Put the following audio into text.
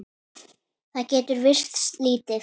Það getur virst lítið.